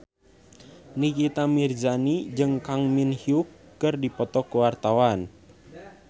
Nikita Mirzani jeung Kang Min Hyuk keur dipoto ku wartawan